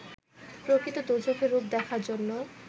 প্রকৃত দোজখের রূপ দেখার জন্য